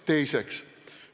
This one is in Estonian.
Teiseks.